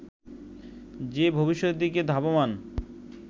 যে ভবিষ্যতের দিকে ধাবমান